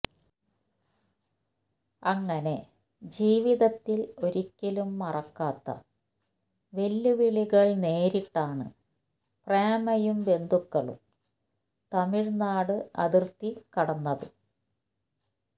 അങ്ങനെ ജീവിതത്തില് ഒരിക്കലും മറക്കാത്ത വെല്ലുവിളികള് നേരിട്ടാണ് പ്രേമയും ബന്ധുക്കളും തമിഴ്നാട് അതിര്ത്തികടന്നത്